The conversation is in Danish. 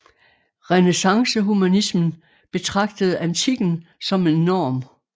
Renæssancehumanismen betragtede antikken som en norm